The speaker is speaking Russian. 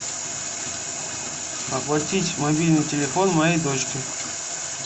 оплатить мобильный телефон моей дочки